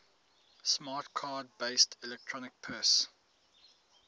smart card based electronic purse